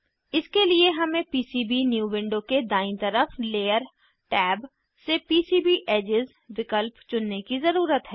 इसके लिए हमें पीसीबीन्यू विंडो के दायीं तरफ लेयर टैब से पीसीबी एडजेस विकल्प चुनने की ज़रुरत है